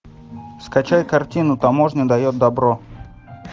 скачай картину таможня дает добро